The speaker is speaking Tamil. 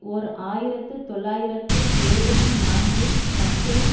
ஓர் ஆயிரத்து தொள்ளாயிரத்து எழுபத்தி நான்கில் மக்கெயின்